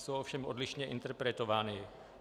Jsou ovšem odlišně interpretovány.